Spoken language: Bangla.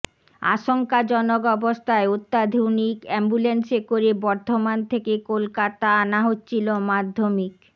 আশঙ্কাজনক অবস্থায় অত্যাধুনিক অ্যাম্বুল্যান্সে করে বর্ধমান থেকে কলকাতা আনা হচ্ছিল মাধ্যমিক